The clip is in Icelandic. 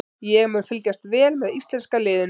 Ég mun fylgjast vel með íslenska liðinu.